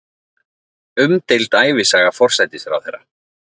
Umdeild ævisaga forsætisráðherra